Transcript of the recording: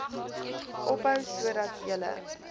ophou sodat julle